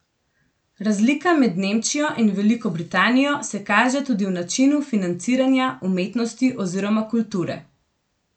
Razlika med Nemčijo in Veliko Britanijo se kaže tudi v načinu financiranja umetnosti oziroma kulture.